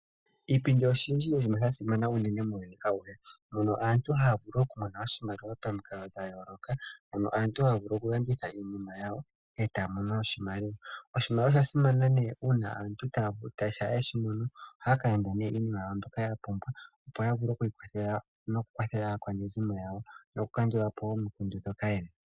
Iipindi oya simana unene muuyuni auhe. Mono aantu haya vulu okumona oshimaliwa pamikalo dha yooloka. Aantu haya vulu okulanditha iinima yawo e taa mono oshimaliwa. Oshimaliwa osha simana, oshoka shampa ye shi mono ohaya ka landa iinima yawo mbyoka ya pumbwa, opo ya vule oku ikwathela nokukwathela aakwanezimo yawo nokukandula po omikundu ndhoka ye na.